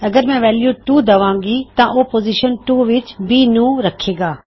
ਅਗਰ ਮੈਂ ਵੈਲਯੂ 2 ਦਵਾਂਗਾ ਤਾਂ ਉਹ ਪੋਜ਼ਿਸ਼ਨ 2 ਵਿੱਚ B ਨੂੰ ਰੱਖੇ ਗਾ